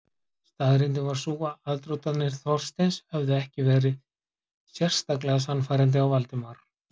Staðreyndin var sú að aðdróttanir Þorsteins höfðu ekki virkað sérlega sannfærandi á Valdimar.